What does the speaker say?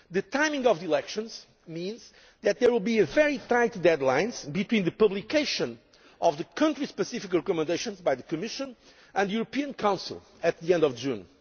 The timing of the elections means that there will be very tight deadlines between the publication of the Country Specific Recommendations by the Commission and the European Council at the end of June.